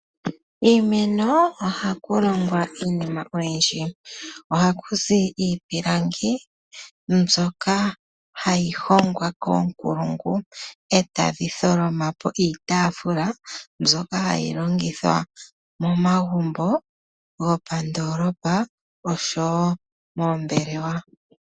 Kiimeno ohaku longwa iinima oyindji, ohaku zi iipilangi mbyoka hayi hongwa koonkulungu e tadhi tholoma po iitaafula mbyoka hayi longithwa momagumbo gwopandoolopa oshowo moombelewa.